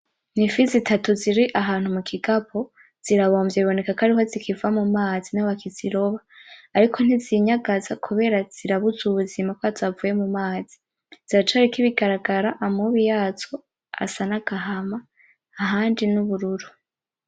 Ni ifi zitatu ziri ahantu mugikapo zirabomvye zibonekako ariho zikiva mumazi niho bakizitoba ariko ntizinyagaza kubera zirabuze ubuzima kubera zavuye mumazi ziracariko ibigaragara , amubi yazo asa nagahama ahandi nubururu.